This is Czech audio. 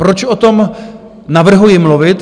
Proč o tom navrhuji mluvit?